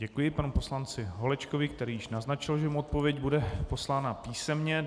Děkuji panu poslanci Holečkovi, který již naznačil, že mu odpověď bude poslána písemně.